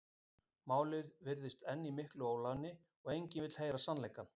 Málið virtist enn í miklu óefni og enginn vildi heyra sannleikann.